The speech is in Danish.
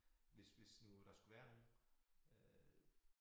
Hvis hvis nu der skulle være nogle øh